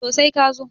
to sai ka zo